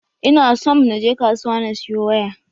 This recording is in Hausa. Ina somn na je kasuwa na siyo waya.